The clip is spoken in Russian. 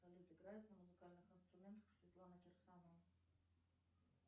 салют играет на музыкальных инструментах светлана кирсанова